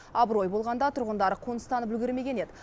абырой болғанда тұрғындар қоныстанып үлгермеген еді